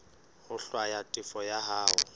ho hlwaya tefo ya hao